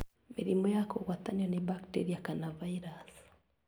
Mĩrimũ ya kũgwatanio nĩ bacteria kana virus